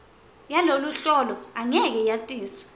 yaloluhlolo angeke yatiswe